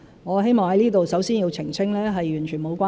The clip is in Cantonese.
我希望在此首先澄清，是完全無關。